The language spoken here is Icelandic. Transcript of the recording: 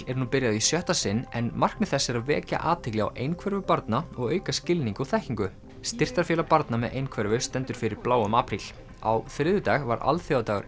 er nú byrjað í sjötta sinn en markmið þess er að vekja athygli á einhverfu barna og auka skilning og þekkingu styrktarfélag barna með einhverfu stendur fyrir bláum apríl á þriðjudag var alþjóðadagur